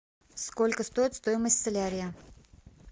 сколько стоит стоимость солярия